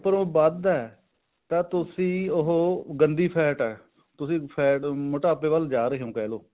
ਪਰ ਉਹ ਵੱਧ ਹੈ ਤਾਂ ਤੁਸੀਂ ਉਹ ਗੰਦੀ fat ਹੈ ਤੁਸੀਂ fat ਮੋਟਾਪੇ ਵੱਲ ਜਾ ਰਹੇ ਹੋ ਕਿਹ ਲੋ